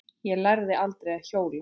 Ég lærði aldrei að hjóla.